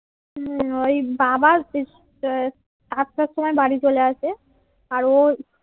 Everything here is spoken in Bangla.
হম ওই বাবা সাতটার সময় বাড়ি চলে আসে আর ও